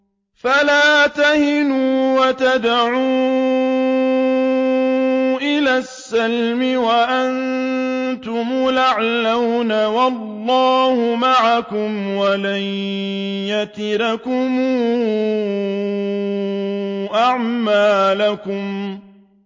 فَلَا تَهِنُوا وَتَدْعُوا إِلَى السَّلْمِ وَأَنتُمُ الْأَعْلَوْنَ وَاللَّهُ مَعَكُمْ وَلَن يَتِرَكُمْ أَعْمَالَكُمْ